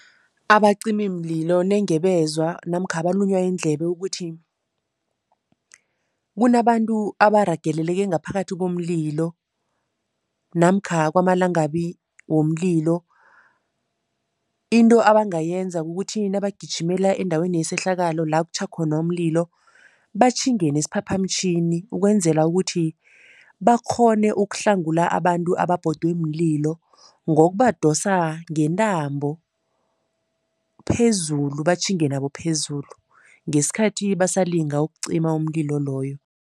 Abacimimlilo nenge bezwa namkha balunywa yindlebe ukuthi kunabantu abaragelele ngaphakathi komlilo namkha kwamalangabi womlilo, into abangayenza kukuthi nabagijimela endaweni yesehlakalo la kutjho khona umlilo, batjhinge nesiphaphamtjhini ukwenzela ukuthi bakghone ukuhlangula abantu ababhodwe mlilo ngokubadosa ngentambo phezulu, batjhinge nabo phezulu, ngesikhathi basalinga ukucima umlilo loyo.